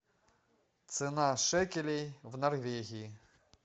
цена шекелей в норвегии